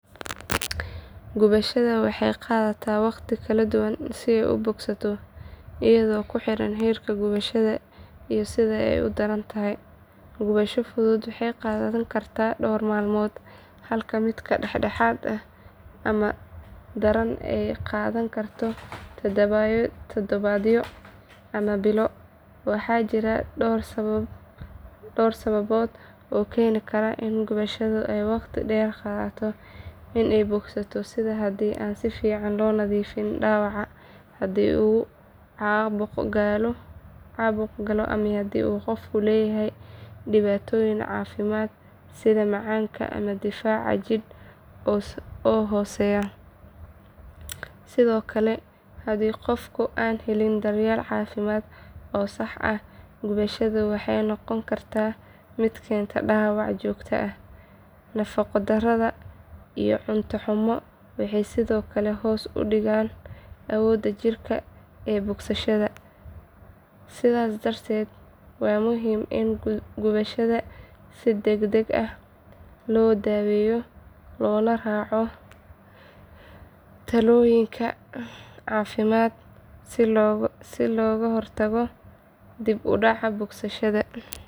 Gubashada waxay qaadataa waqti kala duwan si ay u bogsato iyadoo ku xiran heerka gubashada iyo sida ay u daran tahay. Gubasho fudud waxay qaadan kartaa dhowr maalmood halka mid dhexdhexaad ama daran ay qaadan karto toddobaadyo ama bilo. Waxaa jira dhowr sababood oo keeni kara in gubashada ay waqti dheer qaadato in ay bogsato sida haddii aan si fiican loo nadiifin dhaawaca, haddii uu caabuq galo ama haddii qofka uu leeyahay dhibaatooyin caafimaad sida macaanka ama difaac jidh oo hooseeya. Sidoo kale haddii qofku aan helin daryeel caafimaad oo sax ah gubashada waxay noqon kartaa mid keenta dhaawac joogto ah. Nafaqo darrada iyo cunto xumo waxay sidoo kale hoos u dhigaan awoodda jidhka ee bogsashada. Sidaas darteed waa muhiim in gubashada si degdeg ah loo daweeyo loona raaco talooyinka caafimaad si looga hortago dib u dhac bogsashada.